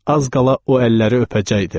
Az qala o əlləri öpəcəkdim.